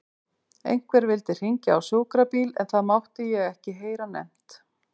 Einhver vildi hringja á sjúkrabíl en það mátti ég ekki heyra nefnt.